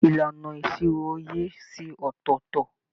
Ìlànà ìṣirò ìyè ṣe ọtọọtọ.